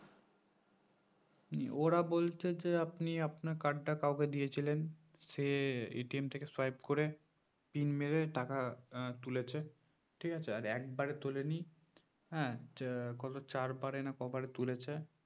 হম ওরা বলছে যে আপনি আপনার card টা কাউকে দিয়েছিলেন সে থেকে swipe করে pin মেরে টাকা আহ তুলেছে ঠিক আছে আর একবারে তোলেনি হ্যাঁ যে কত চার বারে না কবারে তুলেছে